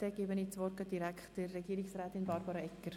Ich erteile das Wort direkt Regierungsrätin Barbara Egger.